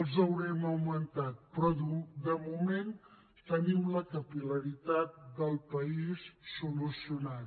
els haurem augmentat però de moment tenim la capil·laritat del país solucionada